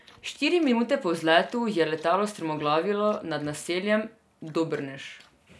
Štiri minute po vzletu je letalo strmoglavilo nad naseljem Dobrnež.